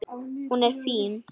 Hún er fín.